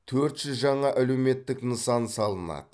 төрт жүз жаңа әлеуметтік нысан салынады